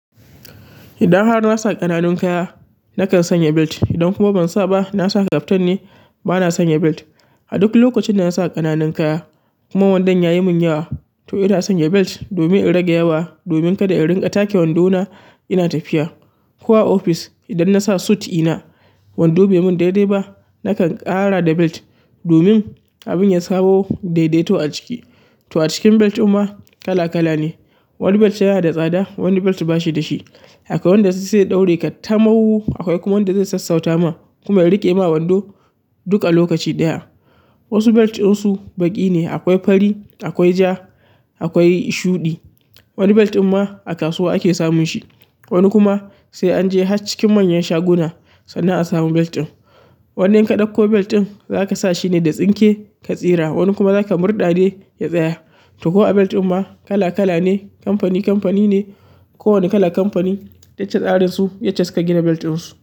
Idan har na sa ƙananun kaya, nakan sanya belt. Idan kuma ban sa ba, na sa kaftan ne, bana sanya belt. A duk lokacin da na sa ƙananun kaya kuma wandon yayi mun yawa, to ina sanya belt domin in rage yawa. Domin kada in ringa take wando na, ina tafiya. Ko a ofis idan nasa suit dina, wando bai mun daidai ba nakan ƙara da belt domin abin ya samo daidai to a ciki. To a cikin belt din ma kala kala ne. Wani belt yana da tsada, wani belt ba shi da shi. Akwai wanda zai daure ka tamaw, akwai kuma wanda zai sassauta ma kuma ya riƙe ma wando duk a lokaci ɗaya. Wasu belt din su baƙi ne, akwai fari, akwai ja, akwai shuɗi. Wani belt ɗin ma a kasuwa ake samun shi, wani kuma sai an je har cikin manyan shaguna sannan a samu belt ɗin. Wani in ka ɗauko belt ɗin zaka sa shine da tsinke ka tsira, wani kuma zaka murɗa ne ya tsaya. To ko a belt ɗin ma kala kala ne, kamfani kamfani ne. Ko wani kalan kamfani, yacce tsarin su, yacce su ka gina belt ɗin su.